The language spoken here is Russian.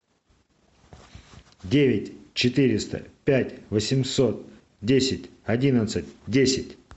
девять четыреста пять восемьсот десять одиннадцать десять